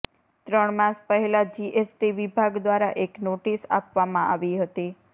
ત્રણ માસ પહેલા જીએસટી વિભાગ દ્વારા એક નોટિસ આપવામાં આવી હતી